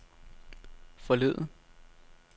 forleden